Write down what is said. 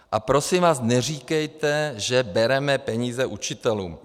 A prosím vás, neříkejte, že peníze bereme učitelům.